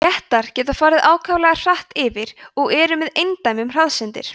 léttar geta farið ákaflega hratt yfir og eru með eindæmum hraðsyndir